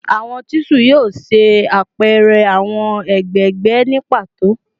Awọn chisel yoo ṣe apẹrẹ awọn egbegbe ni pato